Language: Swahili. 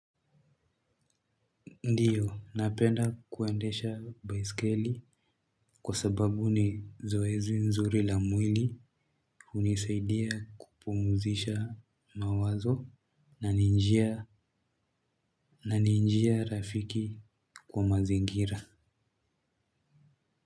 Ndiyo napenda kuendesha baiskeli kwa sababu ni zoezi nzuri la mwili unisaidia kupumuzisha mawazo na ninjia rafiki kwa mazingira.